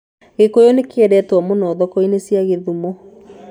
Gĩkũyũ nĩ kĩendetwo mũno thoko-inĩ cia Kisumu.